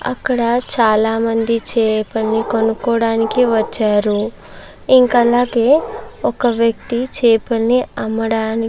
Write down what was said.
అక్కడ చాలామంది చేపలని కొనుక్కోవడానికి వచ్చారు ఇంకా అలాగే ఒక వ్యక్తి చేపల్ని అమ్మడానికి.